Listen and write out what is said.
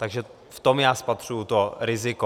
Takže v tom já spatřuji to riziko.